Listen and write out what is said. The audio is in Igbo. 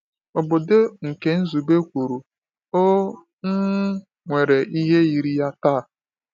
Obodo nke Nzube kwuru ọ um nwere ihe yiri ya taa?